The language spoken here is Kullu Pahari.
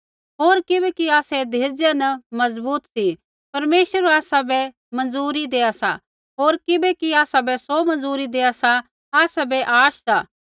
होर किबैकि आसै धीरजा न मजबूत सी परमेश्वर आसाबै मंजूरी देआ सा होर किबैकि आसाबै सौ मंजूरी देआ सा आसाबै आश सा